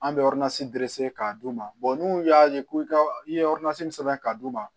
An bɛ dese k'a d'u ma n'u y'a ye ko i ye min sɛbɛn ka d'u ma